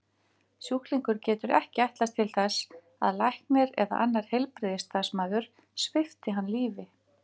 Sjúklingur getur ekki ætlast til þess að læknir eða annar heilbrigðisstarfsmaður svipti hann lífi.